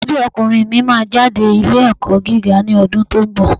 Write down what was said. Àkọ́bí ọkùnrin mi máa jáde ilé ẹ̀kọ́ gíga ní ọdún tó ń bọ̀.